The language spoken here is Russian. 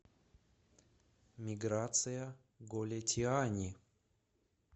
миграция голетиани